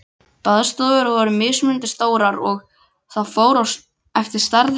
Baðstofur voru mismunandi stórar, og fór það eftir stærð heimila.